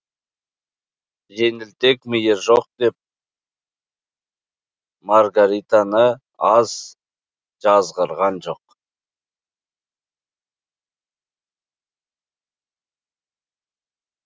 жеңілтек миы жоқ деп маргаританы аз жазғырған жоқ